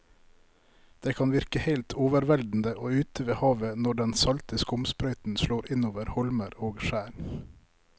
Det kan virke helt overveldende ute ved havet når den salte skumsprøyten slår innover holmer og skjær.